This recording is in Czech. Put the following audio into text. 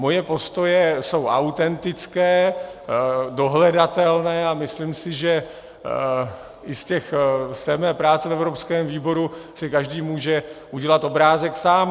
Moje postoje jsou autentické, dohledatelné a myslím si, že i z mé práce v evropském výboru si každý může udělat obrázek sám.